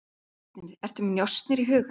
En njósnir, ertu með njósnir í huga?